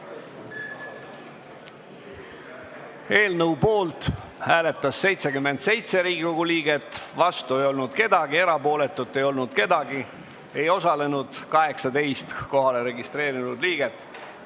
Hääletustulemused Eelnõu poolt hääletas 77 Riigikogu liiget, vastu ei olnud keegi, erapooletu ei olnud keegi, ei osalenud 18 kohalolijaks registreerunud liiget.